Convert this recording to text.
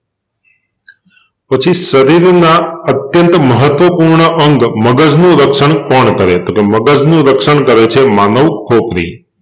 પછી શરીરનાં અત્યંત મહત્વપૂર્ણ અંગ મગજનું રક્ષણ કોણ કરે છે? તો મગજ નું રક્ષણ કરે છે માનવ ખોપરી